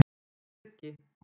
Birgi